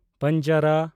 ᱯᱟᱱᱡᱽᱟᱨᱟ